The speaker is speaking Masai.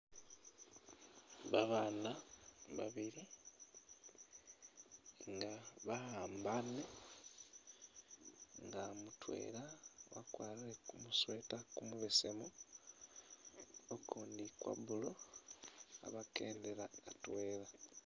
Babaana babili nga bahambaane nga mutwela wakwarire kumusweater kumubesemu, ukundi kwa blue, khabakendela atwela.